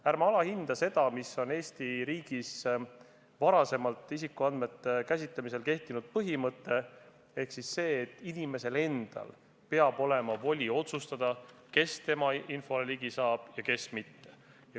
Ärme alahindame seda põhimõtet, mis on Eesti riigis varasemalt isikuandmete käsitlemisel kehtinud, ehk seda, et inimesel endal peab olema voli otsustada, kes tema infole ligi saab ja kes mitte.